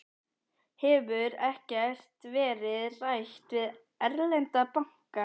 Haukur: Hefur ekkert verið rætt við erlenda banka, Geir?